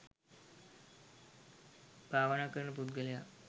භාවනා කරන පුද්ගලයා